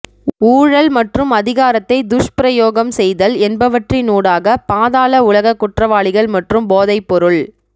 ஊழல் மற்றும் அதிகாரத்தை துஷ்பிரயோகம் செய்தல் என்பவற்றினூடாக பாதாள உலக குற்றவாளிகள் மற்றும் போதைப்பொருள்